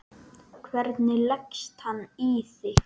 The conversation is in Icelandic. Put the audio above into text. Hvernig leggst hann í þig?